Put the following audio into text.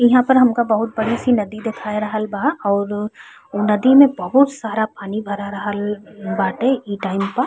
इहा पर हमका बहुत बड़ी सी नदी देखाय रहल बा और उ नदी में बहुत सारा पानी भरा रहल बाटे इ टाइम प।